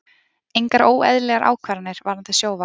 Engar óeðlilegar ákvarðanir varðandi Sjóvá